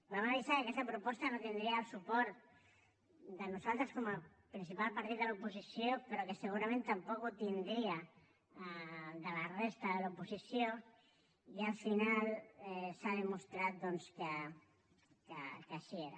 vam avisar que aquesta proposta no tindria el nostre suport com a principal partit de l’oposició però que segurament tampoc el tindria de la resta de l’oposició i al final s’ha demostrat que així era